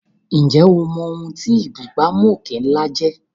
Ǹjẹ́ o mọ̀ ohun tí ìbúgbàmù òkè ńlá jẹ́?